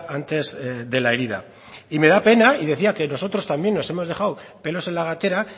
antes de la herida y me da pena y decía que nosotros también nos hemos dejado pelos en la gatera